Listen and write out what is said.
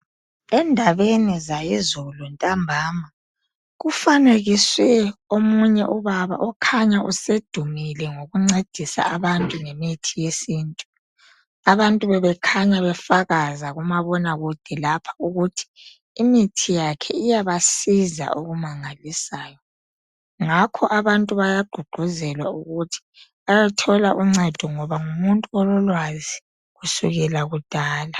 endabeni zayizolo ntambama kufanekiwe omunye ubaba okhanya usedumile ngokuncedisa abantu ngemithi abantu bebekhanya befakaza kumabonakude lapha ukuthi imithi yakhe iyabasiza okumangalisayo ngakho abantu bayagqugquzelwa ukuthi bathole uncedo ngoba ngumuntu ololwazi kusukela kudala